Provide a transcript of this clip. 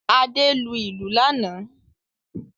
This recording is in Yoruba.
Adé lu ìlù lánàá.